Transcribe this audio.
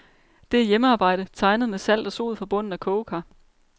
Det er hjemmearbejde, tegnet med salt og sod fra bunden af kogekar.